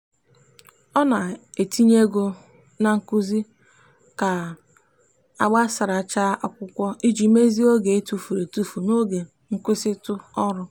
ọ na-etinye ego na nkuzi ka agbasachara akwụkwọ iji mezie oge etufuru etufu n'oge nkwụsịtụ ọrụ.